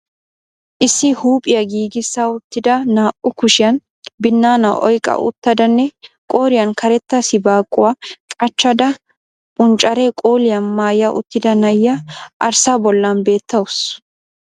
Issi huuphphiya giigissa uttida naa"u kushshiyan binnaana oyqqa uttidanne qooriyan karetta sibaaquwa qachchada punccare qoliya maaya uttida na'iya arssaa bollan beettawuus.